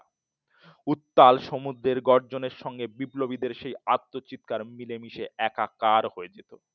উত্তাল সমুদ্রের গর্জনের সঙ্গে বিপ্লবীদের সেই আত্মচিৎকার মিলেমিশে একাকার হয়ে যেত।